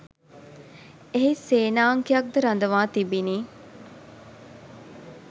එහි සේනාංකයක්ද රඳවා තිබිණි